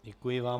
Děkuji vám.